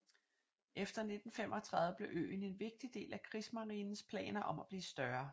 Efter 1935 blev øen en vigtig del af krigsmarinens planer om at blive større